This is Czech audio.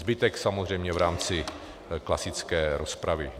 Zbytek samozřejmě v rámci klasické rozpravy.